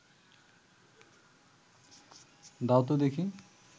দাও ত দেখি